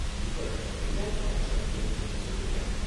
இப்ப indirect tax பத்தி எனக்கு கொஞ்சம் சொல்றியா?